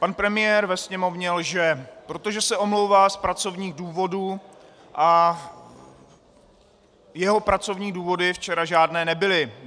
Pan premiér ve Sněmovně lže, protože se omlouvá z pracovních důvodů a jeho pracovní důvody včera žádné nebyly.